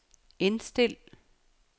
indstil